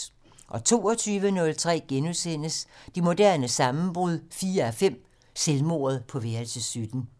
22:03: Det moderne sammenbrud 4:5 - Selvmordet på værelse 17 *